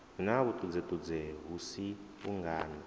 na vhuṱudzeṱudze hu si vhungana